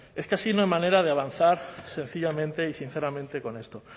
es que así no hay manera de avanzar sencillamente y sinceramente con esto